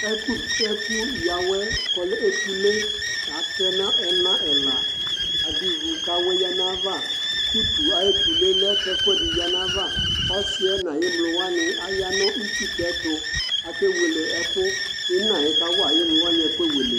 Ɛkʋ yǝ awɛ k'ɔlɛ etule k'atɛna, ɛna ɛla, adʋ ivu k'awɛ yǝ n'ayava, utu ay'etule lɛ k'ɛkʋɛdɩ yǝ n'ayava Ɔsɩ yɛ n'ay'emlo wanɩ aya nʋ itsutɛ tʋ Akewele ɛkʋ Ina yɛ kawa sy'emlo wanɩ ɛkʋewele